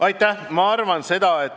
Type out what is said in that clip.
Aitäh!